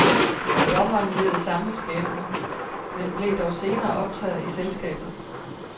Dommeren led samme skæbne, men blev dog senere optaget i selskabet.